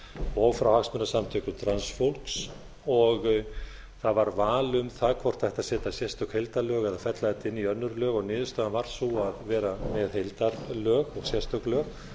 og frá hagsmunasamtökum transfólks og það var val um það hvort það ætti að setja sérstök heildarlög eða fella þetta inn í önnur lög og niðurstaðan varð sú að vera með heildarlög og sérstök lög